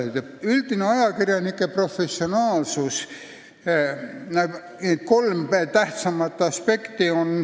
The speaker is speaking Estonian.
Ajakirjanike üldisel professionaalsusel on kolm tähtsamat aspekti.